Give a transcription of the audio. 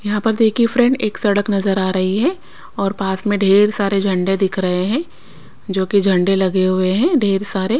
यहाँ पर देखिए फ्रेंड एक सड़क नजर आ रही है और पास में ढेर सारे झंडे दिख रहे हैं जो कि झंडे लगे हुए हैं ढेर सारे--